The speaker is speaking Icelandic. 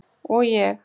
Og ég?